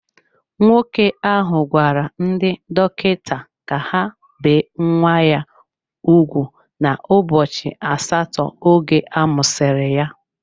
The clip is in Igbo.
Nwoke ahụ gwara ndị dọkịta ka ha bee nwa ya ugwu n'ụbọchị asatọ oge amụsiri ya.